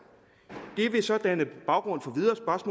vil så danne baggrund for videre